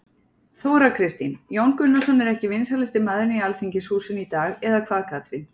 Þóra Kristín: Jón Gunnarsson er ekki vinsælasti maðurinn í Alþingishúsinu í dag eða hvað Katrín?